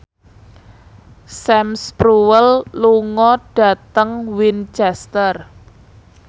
Sam Spruell lunga dhateng Winchester